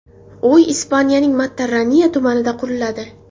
Uy Ispaniyaning Matarraniya tumanida quriladi.